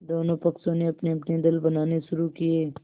दोनों पक्षों ने अपनेअपने दल बनाने शुरू किये